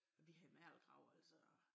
Vi havde mergelgrav altså